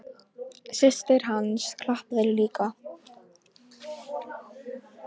Systir hans klappaði líka.